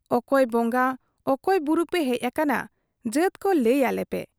ᱚᱠᱚᱭ ᱵᱚᱝᱜᱟ ᱚᱠᱚᱭ ᱵᱩᱨᱩ ᱯᱮ ᱦᱮᱡ ᱟᱠᱟᱱᱟ, ᱡᱟᱹᱛ ᱠᱚ ᱞᱟᱹᱭ ᱟᱞᱮ ᱯᱮ ᱾